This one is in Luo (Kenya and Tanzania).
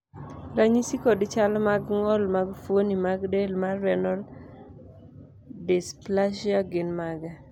ranyisi kod chal mag ng'ol mag fuoni mag del mar Renal dysplasia gin mage?